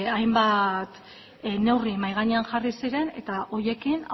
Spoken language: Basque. hainbat neurri mahai gainean jarri ziren eta horiekin